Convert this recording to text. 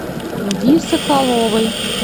ди соколовой